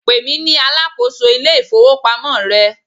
pèmí ní alákóso ilé ifowópamọ́ rẹ